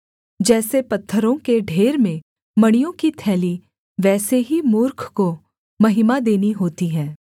जैसे पत्थरों के ढेर में मणियों की थैली वैसे ही मूर्ख को महिमा देनी होती है